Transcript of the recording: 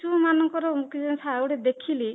ମାନଙ୍କର ରେ ଦେଖିଲି